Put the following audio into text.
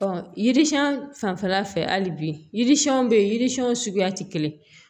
yiri siɲɛn fanfɛla fɛ hali bi yiri siɲɛnw bɛ yen yiri siɲɛw suguyaw tɛ kelen ye